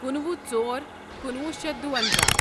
کُنوُہ ژور کُنوُہ شیتھ دُوَنزاہ